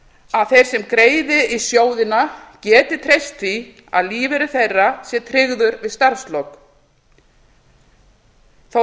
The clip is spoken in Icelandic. að þeir sem greiði í sjóðina geti treyst því að lífeyrir þeirra sé tryggður við starfslok þótt